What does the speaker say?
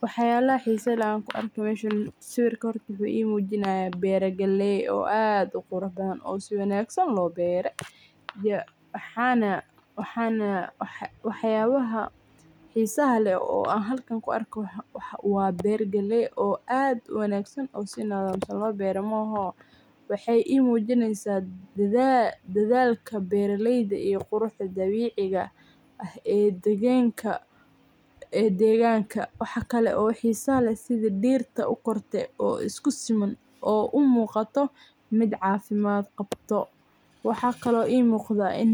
Wax yalaha xisaha leh oo meshan an ku arko, sawirka horta wuxu ii mujinaya bero galley oo aad u qurux badan oo si wanagsan loo bere. Waxana wax yalaha xisaha leh oo meshan ku arko waa ber galley oo aad u wanagsan oo si wanagsan loo bere waxey ii mujineysa dhalka beraleyda iyo qurux dabiciga ah ee deganka waxa kale oo xisaha leh sidha dirta u karte oo u muqata mid cafimad qabto , waxa kale ii muqda in